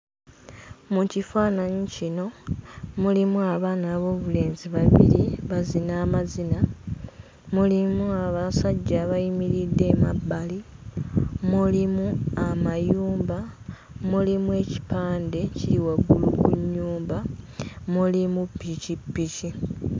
Mu kifaananyi kino mulimu abaana ab'obulenzi babiri bazina amazina, mulimu abasajja abayimiridde emabbali, mulimu amayumba, mulimu ekipande kiri waggulu ku nnyumba, mulimu pikipiki.